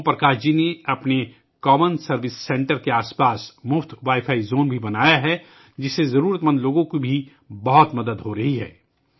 اوم پرکاش جی نے اپنے common service centre کے ارد گرد ایک مفت وائی فائی زون بھی بنایا ہے، جو ضرورت مند لوگوں کی بہت مدد کر رہا ہے